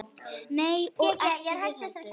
Nei og ekki við heldur.